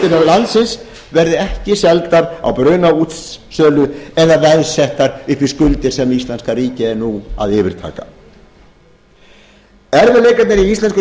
landsins verði ekki seldar á brunaútsölu eða veðsettar upp í skuldir sem íslenska ríkið er nú að yfirtaka erfiðleikarnir í